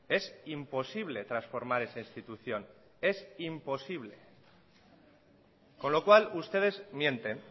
es imposible transformar esa institución es imposible con lo cual ustedes mienten